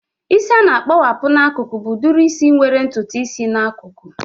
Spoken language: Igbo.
Isi a na-akpowapu n'akụkụ bụ udiri isi nwere ntutu isi n'akụkụ